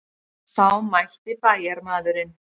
Þá mælti bæjarmaðurinn.